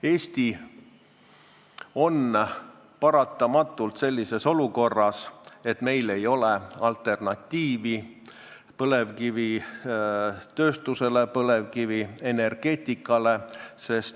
Eesti on paratamatult olukorras, kus meil ei ole põlevkivitööstusele ja põlevkivienergeetikale alternatiive.